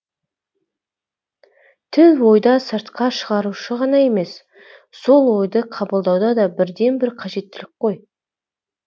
тіл ойды сыртқа шығарушы ғана емес сол ойды қабылдауда да бірден бір қажеттілік қой